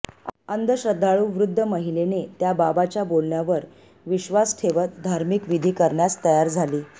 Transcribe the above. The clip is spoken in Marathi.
अंधश्रद्धाळू वृद्ध महिलेने त्या बाबाच्या बोलण्यावर विश्वास ठेवत धार्मिक विधी करण्यास तयार झाली